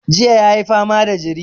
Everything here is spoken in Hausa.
Jiya ya yi fama da jiri.